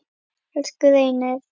Elsku Reynir.